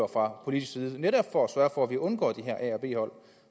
fra politisk side netop for at sørge for at vi undgår de her a og b hold